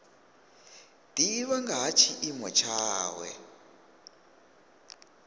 divha nga ha tshiimo tshawe